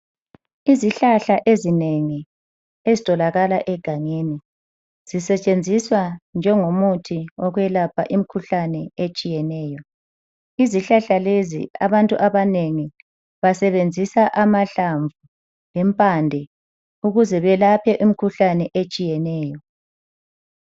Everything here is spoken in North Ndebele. Izihlahla ezinengi ezitholakala egangeni. Zisetshenziswa njengo muthi yokwelapha imikhuhlane etshiyeneyo. Izihlahla lezi abantu abanengi basebenzisa amahlamvu lempande ukuze beyelaphe imikhuhlane etshiyeneyo.